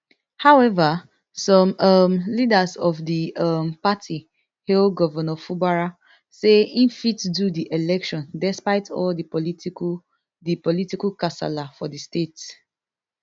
however some um leaders of di um party hail govnor fubara say e fit do di election despite all di political di political kasala for di state